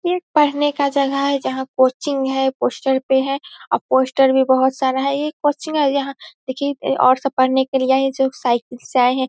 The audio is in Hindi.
यह एक पढ़ने का जगह जहाँ कोचिंग है पोस्टर पे है और पोस्टर भी बहुत सारा है एक कोचिंग है जहाँ देखिए और सब पढ़ने के लिए आयें हैं जो साइकिल से आयें हैं|